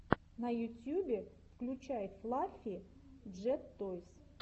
на ютюбе включай флаффи джет тойс